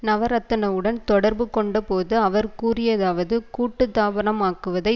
நவரத்னவுடன் தொடர்பு கொண்டபோது அவர் கூறியதாவது கூட்டுத்தாபனமாக்குவதை